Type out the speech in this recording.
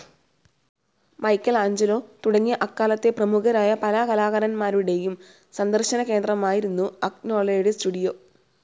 Michael Angelo തുടങ്ങി അക്കാലത്തെ പ്രമുഖരായ പല കലാകാരന്മാരുടെയും സന്ദർശനകേന്ദ്രമായിരുന്നു അഗ്നോളയുടെ സ്റ്റുഡിയോ.